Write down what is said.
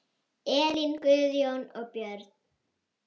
Elín, Guðjón og börn.